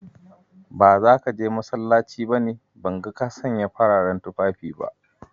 Ba zaka je masallaci ba ne, ban ga ka sanya fararen tufafi ba?